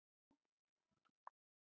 Nei, ég vil ekki sofa hjá þér.